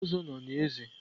Ozo no na eze?